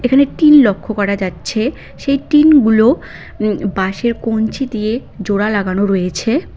এখানে টিন লক্ষ করা যাচ্ছে সেই টিনগুলো উম বাঁশের কঞ্চি দিয়ে জোড়া লাগানো রয়েছে।